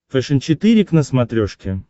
фэшен четыре к на смотрешке